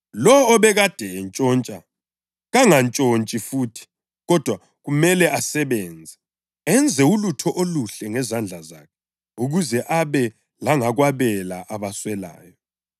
Lowo obekade entshontsha kangantshontshi futhi kodwa kumele asebenze, enze ulutho oluhle ngezandla zakhe ukuze abe langakwabela abaswelayo.